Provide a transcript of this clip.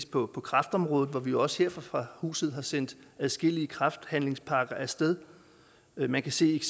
på kræftområdet og vi har jo også her fra huset sendt adskillige kræftpakker af sted man kan se